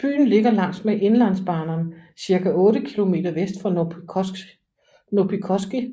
Byen ligger langs med Inlandsbanan cirka 8 kilometer vest for Noppikoski